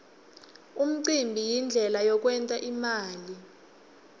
umcimbi yindlela yekwent imali